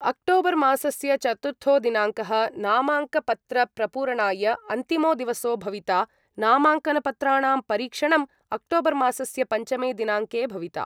अक्टोबर्मासस्य चतुर्थो दिनाङ्कः नामाङ्कपत्रप्रपूरणाय अन्तिमो दिवसो भविता नामाङ्कनपत्राणां परीक्षणम् अक्टोबर्मासस्य पञ्चमे दिनाङ्के भविता